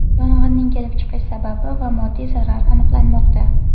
Yong‘inning kelib chiqish sababi va moddiy zarar aniqlanmoqda.